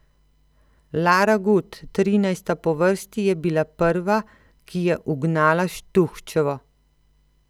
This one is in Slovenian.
Lara Gut, trinajsta po vrsti, je bila prva, ki je ugnala Štuhčevo.